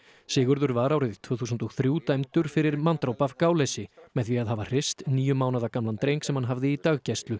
Sigurður var árið tvö þúsund og þrjú dæmdur fyrir manndráp af gáleysi með því að hafa hrist níu mánaða gamlan dreng sem hann hafði í daggæslu